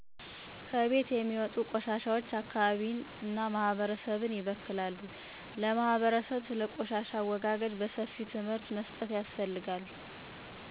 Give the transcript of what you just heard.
ከቤት የሚወጡ ቆሻሾች አካባቢን ማህበረሰብን ይበክላሉ ለማህበረሰብ ስለ ቆሻሻ አወጋገድ በሰፊው ትምህርት መስጠት ያስፈልጋል